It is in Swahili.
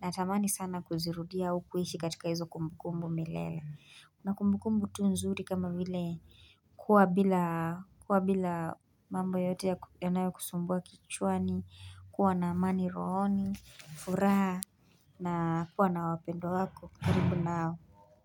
natamani sana kuzirudia ukuishi katika hizo kumbukumbu milele. Una kumbukumbu tu nzuri kama vile kuwa bila mambo yote yanayokusumbwa kichwani kuwa na amani rohoni, furaha na kuwa na wapendwa wako karibu nao.